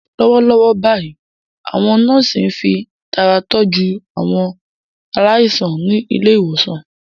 Lọ́wọ́lọ́wọ́ báyìí, àwọn nọ́ọ̀sì ń fi ìtara tọ́jú àwọn aláìsàn ní ilé ìwòsàn.